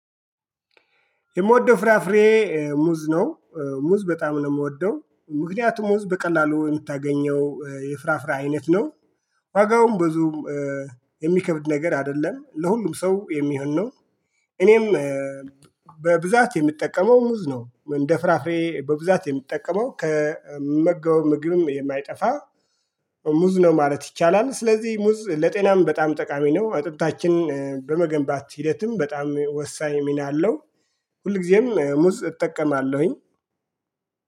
የምወደው ፍራፍሬ ሙዝ ነው። ሙዝ በጣም ነው የምወደው ምክንያቱም ሙዝ በቀላሉ የምታገኘው የፍራፍራ አይነት ነው። ዋጋውም ብዙ የሚከብድ ነገር አይደለም ለሁሉም ሰው የሚሆን ነው። እኔም በብዛት የምጠቀመው ሙዝ ነው እንደ ፍራፍሬ በብዛት የምጠቀመው ከምመገበው ምግብም የማይጠፋ ሙዝ ነው ማለት ይቻላል። ስለዚህ ሙዝ ለጤናም በጣም ጠቃሚ ነው። አጥንታችን በመገንባት ሂደትም በጣም ወሳኝ ሚና አለው። ሁልጊዜም ሙዝ እጠቀማለሁኝ